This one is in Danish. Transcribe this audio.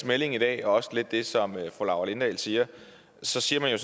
melding i dag og også lidt det som fru laura lindahl siger så siger man jo